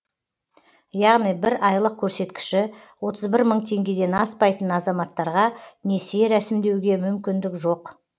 яғни бір айлық көрсеткіші отыз бір мың теңгеден аспайтын азаматтарға несие рәсімдеуге мүмкіндік жоқ